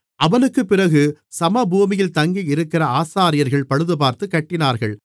அவனுக்குப் பிறகு சமபூமியில் தங்கியிருக்கிற ஆசாரியர்கள் பழுதுபார்த்துக் கட்டினார்கள்